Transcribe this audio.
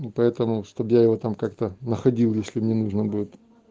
ну поэтому чтобы я его там как-то находил если мне нужно будет